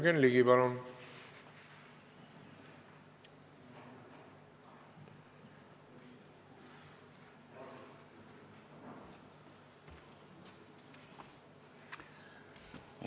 Jürgen Ligi, palun!